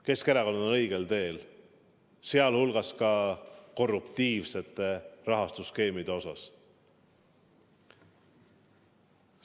Keskerakond on õigel teel, sealhulgas ka korruptiivsete rahastusskeemide osas.